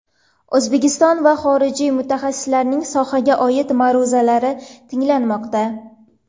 O‘zbekiston va xorijiy mutaxassislarning sohaga oid ma’ruzalari tinglanmoqda.